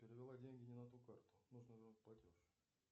перевела деньги не на ту карту нужно вернуть платеж